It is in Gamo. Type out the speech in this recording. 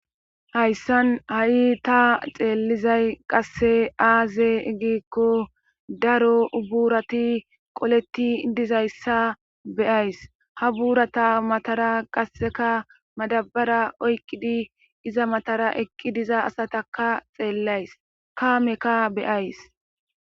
hayssan ha7i ta xeellizay qasse aaze giikko daro ubuurati qoleti dizayssa beyays ha buurata matara qasseka madabara oykqidi iza matara ekqi diza asataka xeellays kaameka beyays